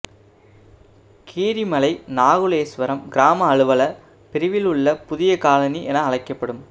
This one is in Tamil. கீரிமலை நகுலேஸ்வரம் கிராம அலுவலர் பிரிவில் உள்ளபுதிய கொலனி என அழைக்கப்படும்